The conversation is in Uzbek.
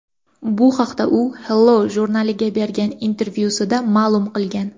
Bu haqida u Hello jurnaliga bergan intervyusida ma’lum qilgan.